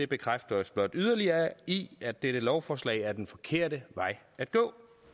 bekræfter os blot yderligere i at dette lovforslag er den forkerte vej at gå